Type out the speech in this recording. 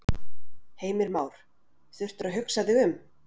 Heimir Már: Þurftirðu að hugsa þig um?